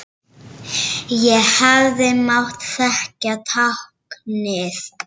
Ég hefði mátt þekkja táknið.